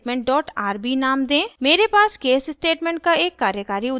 मेरे पास case statement का एक कार्यकारी उदाहरण है